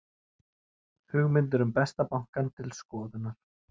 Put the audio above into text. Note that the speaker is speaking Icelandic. Hugmyndir um Besta bankann til skoðunar